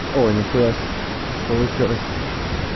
о нихуясе получилось